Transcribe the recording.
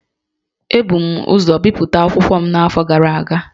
Ebu m ụzọ bipụta akwụkwọ m n’afọ gara aga